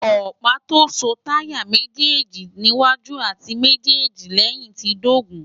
ọ̀pá tó so táyà méjéèlì níwájú àti méjéèjì lẹ́yìn ti dógùn-ún